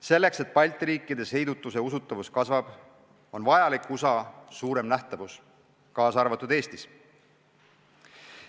Selleks, et Balti riikides heidutuse usutavus kasvaks, on vajalik USA suurem nähtavus, kaasa arvatud Eestis.